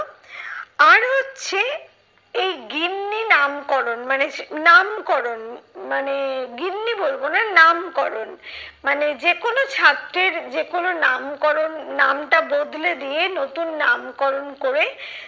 আর হচ্ছে এই গিন্নি নামকরণ মানে যে নামকরণ মানে গিন্নি বলবো না নামকরণ মানে যে কোনো ছাত্রের যে কোনো নামকরণ নামটা বদলে দিয়ে নতুন নামকরণ করে